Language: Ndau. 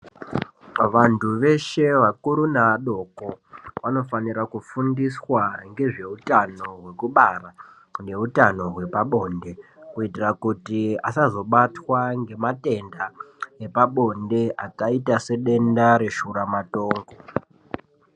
Vantu veshe vakuru neadoko vanofanira kufundiswa ngezveutano hwekubara neutano hwepabonde kuitira kuti asazobatwa ngematenda epabonde akaita sedenda reshuramatongo.